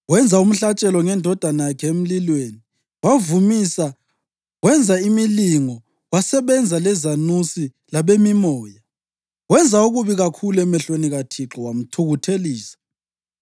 Wenza umhlatshelo ngendodana yakhe emlilweni, wavumisa, wenza imilingo, wasebenza lezanuse labemimoya. Wenza okubi kakhulu emehlweni kaThixo, wamthukuthelisa.